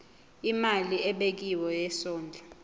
imali ebekiwe yesondlo